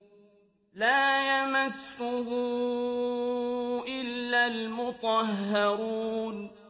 لَّا يَمَسُّهُ إِلَّا الْمُطَهَّرُونَ